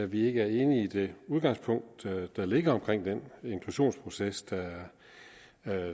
vi ikke er enige i det udgangspunkt der ligger for den inklusionsproces der er